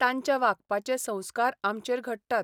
तांच्या वागपाचे संस्कार आमचेर घडटात.